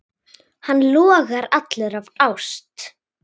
Hann logar allur af ást.